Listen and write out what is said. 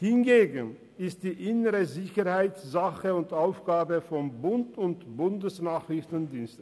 Hingegen ist die innere Sicherheit Sache und Aufgabe des Bundes und des Bundesnachrichtendienstes.